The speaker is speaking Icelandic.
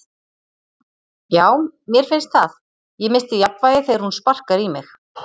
Já, mér finnst það, ég missti jafnvægið þegar hún sparkar í mig.